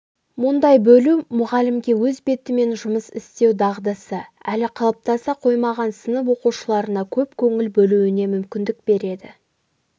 мұндай бөлу мұғалімге өз бетімен жұмыс істеу дағдысы әлі қалыптаса қоймаған сынып оқушыларына көп көңіл бөлуіне мүмкіндік береді